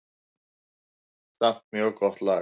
Samt mjög gott lag.